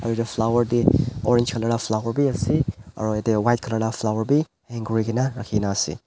yar flower te orange colour vala flower bhi ase aru jatte white colour vala flower bhi hang kori kina ase.